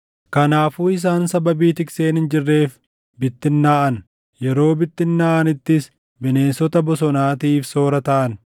Kanaafuu isaan sababii tikseen hin jirreef bittinnaaʼan; yeroo bittinnaaʼanittis bineensota bosonaatiif soora taʼan.